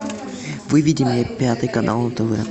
выведи мне пятый канал на тв